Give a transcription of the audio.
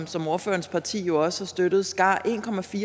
som ordførerens parti jo også har støttet skar